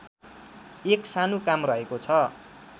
एक सानो काम रहेको छ